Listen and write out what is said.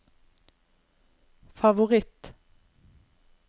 favoritt